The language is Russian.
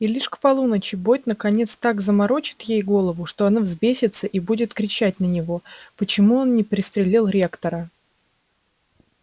и лишь к полуночи бойд наконец так заморочит ей голову что она взбесится и будет кричать на него почему он не пристрелил ректора